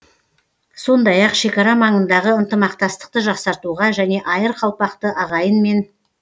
сондай ақ шекара маңындағы ынтымақтастықты жақсартуға және айыр қалпақты ағайынмен